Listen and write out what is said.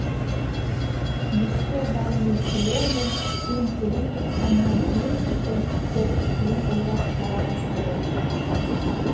ескі валлий тілі мен финн тілін оқығаннан кейін эльфтер тілін ойлап шығара бастады